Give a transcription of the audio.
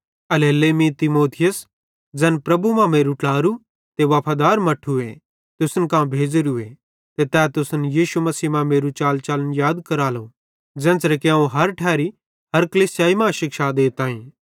एल्हेरेलेइ मीं तीमुथियुसे ज़ैन प्रभु मां मेरू ट्लारू ते वफादार मट्ठूए तुसन कां भेज़ोरूए ते तै तुसन यीशु मसीह मां मेरू चालचलन याद करालो ज़ेन्च़रे कि अवं हर एक्की ठैरी हर कलीसिया मां शिक्षा देताईं